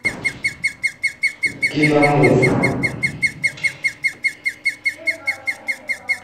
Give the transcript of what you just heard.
киномув